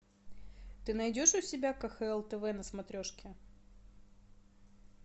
ты найдешь у себя кхл тв на смотрешке